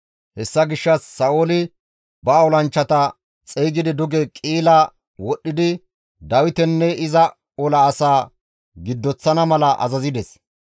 Hessa gishshas Sa7ooli ba olanchchata xeygidi duge Qi7ila wodhdhidi Dawitenne iza ola asaa giddoththana mala azazides.